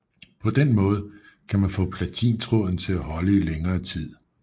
På den måde kan man få platintråden til at holde i længere tid